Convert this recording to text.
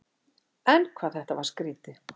En hvað þetta var skrýtið.